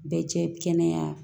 Bɛɛ cɛ kɛnɛya